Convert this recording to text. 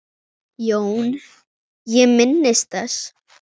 JÓN: Ég minnist þess.